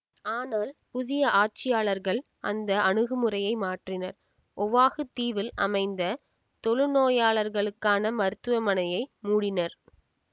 ஆனால் புதிய ஆட்சியாளர்கள் அந்த அணுகுமுறையை மாற்றினர் ஒவாகு தீவில் அமைந்த தொழுநோயாளருக்கான மருத்துவமனையை மூடினர்